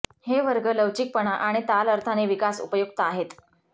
हे वर्ग लवचिकपणा आणि ताल अर्थाने विकास उपयुक्त आहेत